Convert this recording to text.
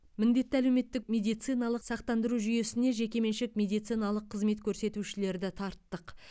міндетті әлеуметтік медициналық сақтандыру жүйесіне жекеменшік медициналық қызмет көрсетушілерді тарттық